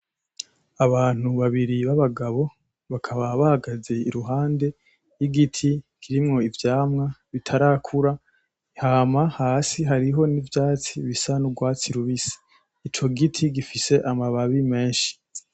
Abantu babiri b‘ abagabo, bakaba bahagaze iruhande y‘ igiti kirimwo ivyamwa bitarakura hama hasi hariho n‘ ivyatsi bisa n‘ urwatsi rubisi. ico giti gifise amababi menshi .